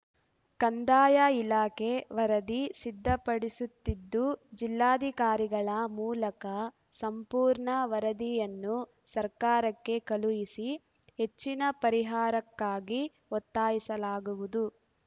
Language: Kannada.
ಕಂದಾಯ ಇಲಾಖೆ ವರದಿ ಸಿದ್ಧಪಡಿಸುತ್ತಿದ್ದು ಜಿಲ್ಲಾಧಿಕಾರಿಗಳ ಮೂಲಕ ಸಂಪೂರ್ಣ ವರದಿಯನ್ನು ಸರ್ಕಾರಕ್ಕೆ ಕಳುಹಿಸಿ ಹೆಚ್ಚಿನ ಪರಿಹಾರಕ್ಕಾಗಿ ಒತ್ತಾಯಿಸಲಾಗುವುದು